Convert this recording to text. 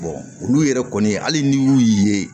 olu yɛrɛ kɔni hali n'i y'u ye